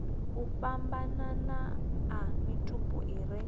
fhambananaho a mitupo i re